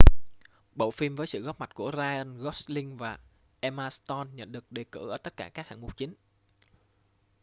bộ phim với sự góp mặt của ryan gosling và emma stone nhận được đề cử ở tất cả các hạng mục chính